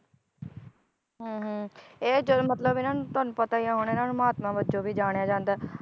ਹਮ ਹਮ ਇਹ ਜਦੋ ਮਤਲਬ ਇਹਨਾਂ ਨੂੰ ਤੁਹਾਨੂੰ ਪਤਾ ਈ ਆ ਹੁਣ ਇਹਨਾਂ ਨੂੰ ਮਹਾਤਮਾ ਵਜੋਂ ਵੀ ਜਾਣਿਆ ਜਾਂਦਾ